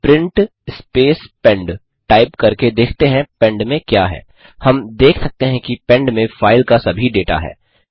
अब print space pend type करके देखते हैं पेंड में क्या है हम देख सकते हैं कि पेंड में फाइल का सभी डेटा है